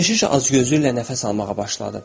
Keşiş azgözlüklə nəfəs almağa başladı.